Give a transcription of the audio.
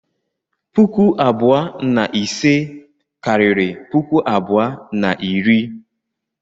Puku abụọ na ise karịrị puku abụọ na iri.